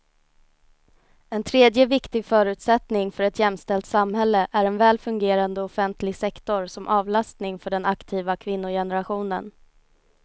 En tredje viktig förutsättning för ett jämställt samhälle är en väl fungerande offentlig sektor som avlastning för den aktiva kvinnogenerationen.